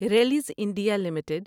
Rallis India limited